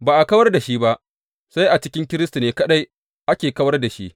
Ba a kawar da shi ba, sai a cikin Kiristi ne kaɗai ake kawar da shi.